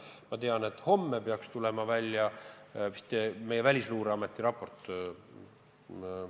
Ma tean, et homme peaks välja tulema meie Välisluureameti raport.